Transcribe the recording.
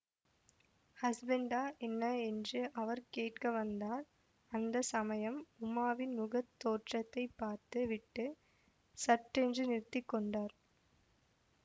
ஹஸ்பெண்டா என்ன என்று அவர் கேட்க வந்தார் அந்த சமயம் உமாவின் முகத் தோற்றத்தை பார்த்து விட்டு சட்டென்று நிறுத்தி கொண்டார்